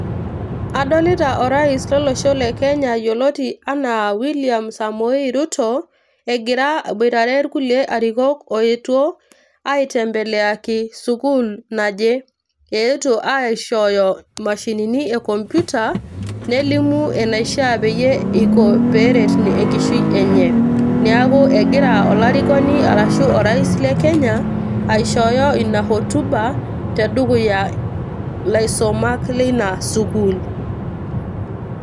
Adolita orais lolosho le Kenya yioloti anaa William Samoei Ruto egira aboitare irkulie arikok oetuo aitembeleaki sukuul naje. eetuo aishooyo mashinini e computer nelimu enaishaa pee iko peret enkishui enye . niaku egira olarikoni arashu orais le Kenya aishooyo ina hotuba tedukuya ilaisomak leina sukuul.